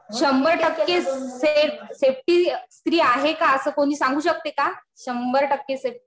शंभर टक्के safe safety स्त्री आहे का असं कोणी सांगू शकते का? शंभर टक्के सेफ.